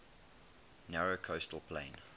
narrow coastal plain